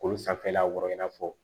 Kolo sanfɛla kɔrɔ i n'a fɔ